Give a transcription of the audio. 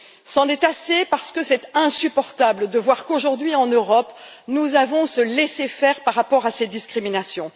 C'en est assez, parce qu'il est insupportable de voir qu'aujourd'hui en Europe, nous pratiquons ce laisser faire par rapport à ces discriminations.